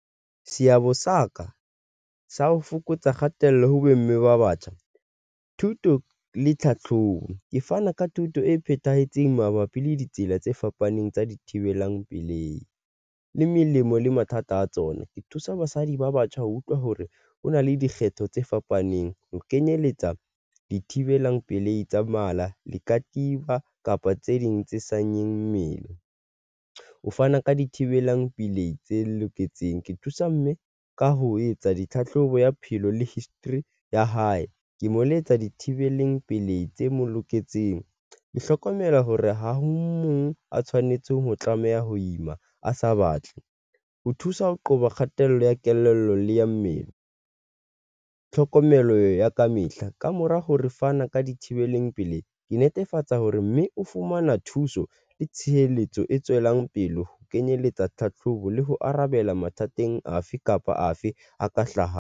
Seabo sa ka sa ho fokotsa kgatello ho bomme ba batjha, thuto le tlhatlhobo. Ke fana ka thuto e phethahetseng mabapi le ditsela tse fapaneng tsa dithibelang pelehi le melemo le mathata a tsona. Ke thusa basadi ba batjha ho utlwa hore ho na le dikgetho tse fapaneng ho kenyeletsa di thibelang pelehi tsa mala le katiba kapa tse ding tse senyang mmele o fana ka dithibelang pelehi tse loketseng ke thusa mme ka ho etsa ditlhahlobo ya bophelo le history ya hae, ke mo letsa dithibeleng pelehi tse mo loketseng. Ke hlokomela hore ha o mong a tshwanetseng ho tlameha ho ima, a sa batle ho thusa ho qoba kgatello ya kelello le ya mmele. Tlhokomelo ya kamehla kamora ho re fana ka dithibeleng pele ke netefatsa hore mme o fumana thuso le tshireletso e tswelang pele, ho kenyeletsa tlhatlhobo le ho arabela mathateng afe kapa afe a ka hlahang.